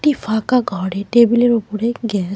একটি ফাঁকা ঘরে টেবিলের -এর উপরে গ্যাস --